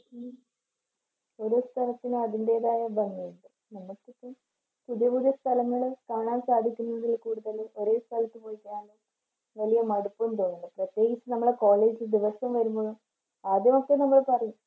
ഓരോ സ്ഥലത്തിനും അതിന്റേതായ ഭംഗി ഉണ്ട്. നമ്മൾക്കിപ്പം പുതിയ പുതിയ സ്ഥലങ്ങള് കാണാൻ സാധിക്കുന്നതിൽ കൂടുതൽ ഒരേ സ്ഥലത്ത് പോയിട്ടാകുമ്പോ വലിയ മടുപ്പൊന്നും തോന്നില്ല. പ്രത്യകിച്ച് നമ്മളെ college ദിവസം വരുമ്പോ ആദ്യമൊക്കെ നമ്മൾ പറയും